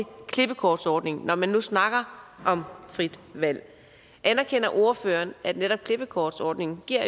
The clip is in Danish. klippekortsordningen når man nu snakker om frit valg anerkender ordføreren at netop klippekortsordningen